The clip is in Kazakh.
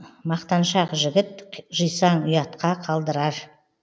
мақтаншақ жігіт жисаң ұятқа қалдырар